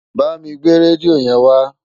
Bámi gbé rédíò yẹn wá